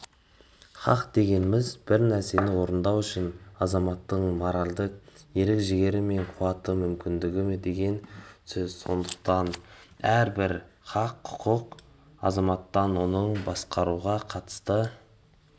хақ дегеніміз бір нәрсені орындау үшін азаматтың моральдық ерік-жігері мен қуаты мүмкіндігі деген сөз сондықтан әрбір хақ-құқық азаматтан оның басқаларға қатысты